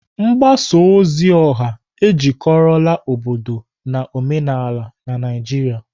Mgbasa ozi ọha ejikọrọla obodo na omenala na Naijiria.